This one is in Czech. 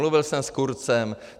Mluvil jsem s Kurzem.